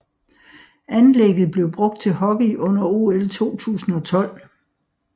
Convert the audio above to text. Anlægget blev brugt til hockey under OL 2012